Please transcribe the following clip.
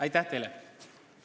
Aitäh teile!